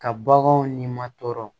Ka baganw ni ma tɔɔrɔ